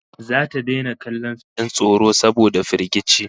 Zata daina kallon fim din tsoro saboda firgici